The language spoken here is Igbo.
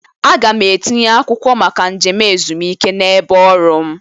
A ga m etinye akwụkwọ maka njem ezumike n'ebe ọrụ m